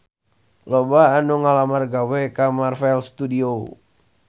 Loba anu ngalamar gawe ka Marvel Studios